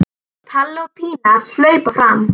Palli og Pína hlaupa fram.